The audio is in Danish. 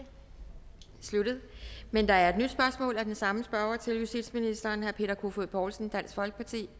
sluttet men der er et nyt spørgsmål af den samme spørger til justitsministeren herre peter kofod poulsen dansk folkeparti